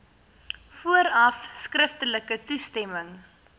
vooraf skriftelik toestemming